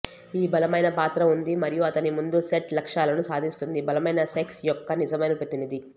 ఈ బలమైన పాత్ర ఉంది మరియు అతని ముందు సెట్ లక్ష్యాలను సాధిస్తుంది బలమైన సెక్స్ యొక్క నిజమైన ప్రతినిధి